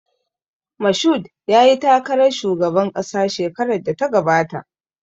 Mashood yayi takarar shugaban ƙasa shekarar da ta gabata